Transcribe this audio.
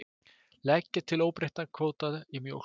Leggja til óbreyttan kvóta í mjólk